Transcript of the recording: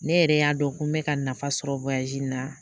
Ne yɛrɛ y'a dɔn ko n bɛ ka nafa sɔrɔ in na